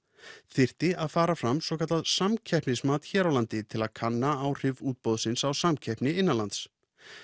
þyrfti að fara fram svokallað samkeppnismat hér á landi til að kanna áhrif útboðsins á samkeppni innanlands